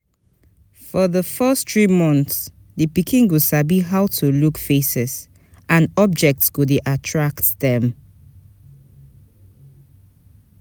For di first three months di pikin go sabi how to look faces and objects go de attract dem